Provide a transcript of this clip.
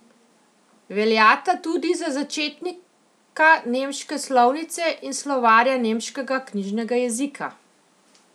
Veljata tudi za začetnika nemške slovnice in slovarja nemškega knjižnega jezika.